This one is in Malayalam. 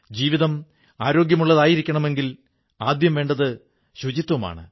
ജീവിതം ആരോഗ്യമുള്ളതായിരിക്കണമെങ്കിൽ ആദ്യം വേണ്ടത് സ്വച്ഛതയാണ്